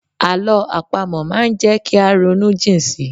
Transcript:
Àlọ́ àpamọ̀ máa ń jẹ́ kí á ronú jìn si.